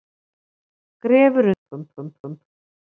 Grefur undan bönkum